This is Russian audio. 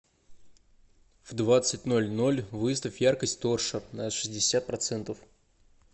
в двадцать ноль ноль выставь яркость торшер на шестьдесят процентов